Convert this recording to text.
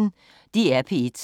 DR P1